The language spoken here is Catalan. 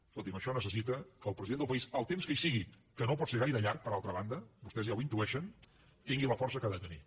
escolti’m això necessita que el president del país el temps que hi sigui que no pot ser gaire llarg per altra banda vostès ja ho intueixen tingui la força que ha de tenir